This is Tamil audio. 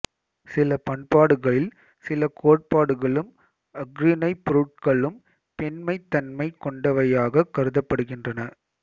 சில பண்பாடுகளில் சில கோட்பாடுகளும் அஃறிணைப் பொருட்களும் பெண்மைத்தன்மை கொண்டவையாகக் கருதப்படுகின்றன